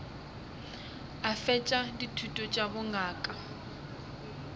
a fetša dithuto tša bongaka